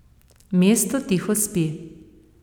Mesto tiho spi.